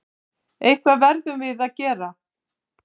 Eitthvað verðum við að gera.